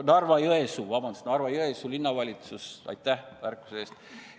Narva-Jõesuu, vabandust, Narva-Jõesuu Linnavalitsus – aitäh märkuse eest!